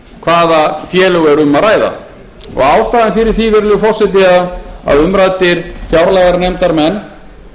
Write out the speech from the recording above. hvaða félög er um að ræða og ástæðan fyrir því virðulegi forseti að umræddir fjárlaganefndarmenn